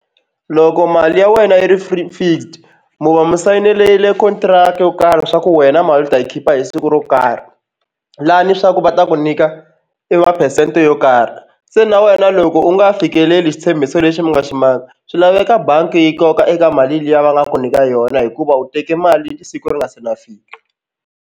Loko mali ya wena yi ri fixed mu va mu sayinerile contract yo karhi swa ku wena mali ta yi khipa hi siku ro karhi lani swa ku va ta ku nyika i ma-percent yo karhi se na wena loko u nga fikeleli xitshembiso lexi mi nga xi maka swi laveka bangi yi koka eka mali liya va nga ku nyika yona hikuva u teke mali siku ri nga se na fika.